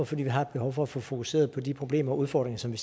fordi vi har et behov for at få fokuseret på de problemer og udfordringer som vi